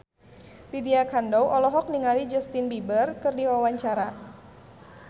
Lydia Kandou olohok ningali Justin Beiber keur diwawancara